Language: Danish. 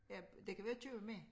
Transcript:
Ja de kan vi jo købe med